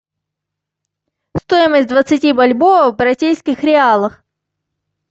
стоимость двадцати бальбоа в бразильских реалах